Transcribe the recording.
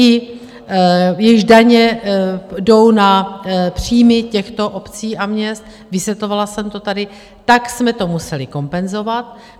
i jejichž daně jdou na příjmy těchto obcí a měst, vysvětlovala jsem to tady, tak jsme to museli kompenzovat.